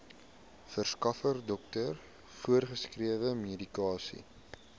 verskaffer dokter voorgeskrewemedikasie